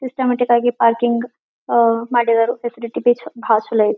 Systematic ಆಗಿ parking ಅಹ್ ಮಾಡಿದರು ಸ್ಪೇಸಿಯಾಲಿಟಿ ಬಹಳ್ ಚಲೋ ಐತಿ.